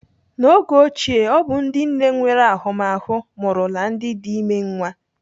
N'oge ochie, ọ bụ ndị nne nwere ahụmahụ mụrụla ndị dị ime nwa.